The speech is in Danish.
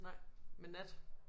Nej med nat